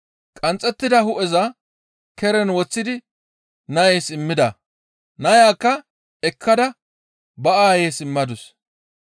Qanxxettida hu7eza keren woththidi nays immida. Nayakka ekkada ba aayeys immadus.